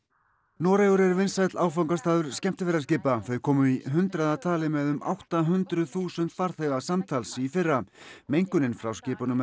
Noregur er vinsæll áfangastaður skemmtiferðaskipa þau komu í hundraða tali með um átta hundruð þúsund farþega samtals í fyrra mengunin frá skipunum er